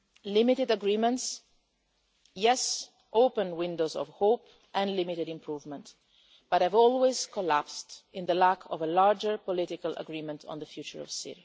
Limited agreements do open windows of hope, and bring limited improvement, but have always collapsed owing to the lack of broader political agreement on the future of Syria.